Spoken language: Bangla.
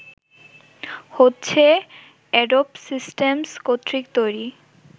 হচ্ছে এ্যাডোব সিস্টেমস কর্তৃক তৈরি